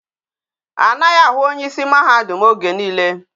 A naghi ahụ onye isi mahadum oge niile